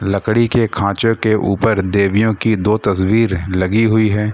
लकड़ी के खांचे के ऊपर देवियों की दो तस्वीर लगी हुई है।